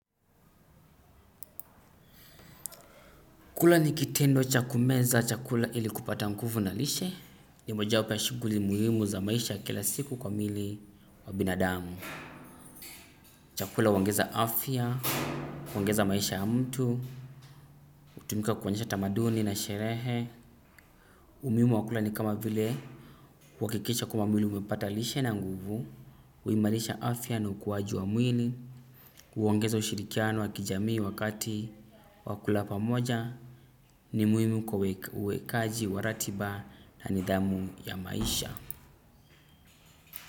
Kula ni kitendo cha kumeza chakula ili kupata nguvu na lishe. Ni moja wapo ya shuguli muhimu za maisha kila siku kwa mili wa binadamu. Chakula huongeza afya, huongeza maisha ya mtu hutumika kuonyesha tamaduni na sherehe. Umuhimu wa kula ni kama vile kuhakikisha kwamba mwili umepata lishe na nguvu huimarisha afya na ukuwaji wa mwili huongeza ushirikiano wa kijamii wakati wa kula pamoja ni muhimu kwa uwekaji wa ratiba na nidhamu ya maisha.